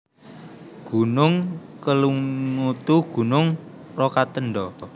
Gunung KelimutuGunung Rokatenda